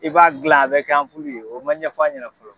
I b'a gilan a bɛ kɛ o man ɲɛfɔ an ɲɛna fɔlɔ.